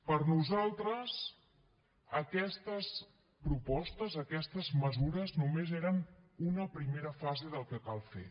per nosaltres aquestes propostes aquestes mesures només eren una primera fase del que cal fer